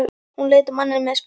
Hún leit á manninn með spurn.